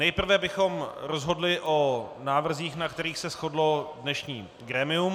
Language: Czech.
Nejprve bychom rozhodli o návrzích, na kterých se shodlo dnešní grémium.